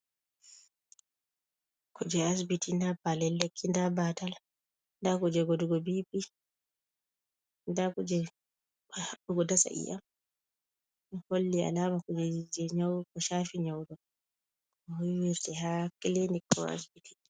Kuuje asibiti, daa paalel lekki , daa baatal, daa kuuje godugo B.P, daa kuje haɓɓugo dasa i'iam. Holli alaama kujeeji jee nyaw, shaafi nyaw, huuwirte haa kilinik ko asibiti.